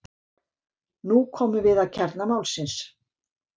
nú komum við að kjarna málsins